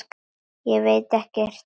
Veit ekkert um hana.